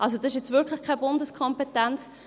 Also: Das ist jetzt wirklich keine Bundeskompetenz.